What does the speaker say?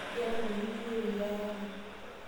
Ngero ntokitin niyieu payie aayaki